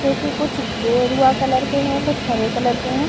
जो की कुछ गेरुआ कलर के है कुछ हरे कलर के है।